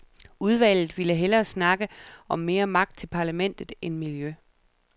Udvalget ville hellere snakke om mere magt til parlamentet end miljø.